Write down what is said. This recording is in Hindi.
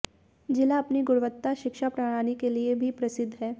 ज़िला अपनी गुणवत्ता शिक्षा प्रणाली के लिए भी प्रसिद्ध है